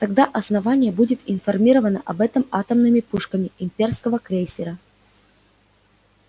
тогда основание будет информировано об этом атомными пушками имперского крейсера